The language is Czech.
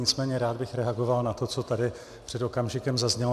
Nicméně rád bych reagoval na to, co tady před okamžikem zaznělo.